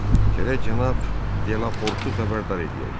Gərək cənab Delaportu xəbərdar eləyək.